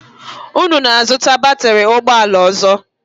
Unu na-azụta batịrị ụgbọala ọzọ?